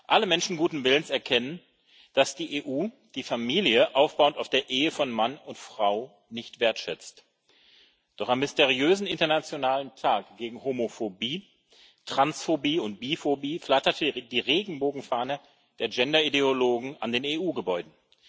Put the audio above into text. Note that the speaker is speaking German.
Alle Menschen guten Willens erkennen, dass die EU die Familie aufbauend auf der Ehe von Mann und Frau nicht wertschätzt, doch am mysteriösen Internationalen Tag gegen Homophobie, Transphobie und Biphobie flatterte die Regenbogenfahne der Gender Ideologen an den EU Gebäuden.